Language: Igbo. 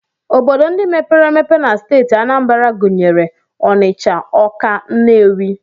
Obodo ndị mepere emepe na steeti Anambra gụnyere Ọnịcha, Ọka, Nnewi